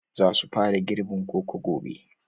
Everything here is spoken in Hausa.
Za su fara girbin koko gobe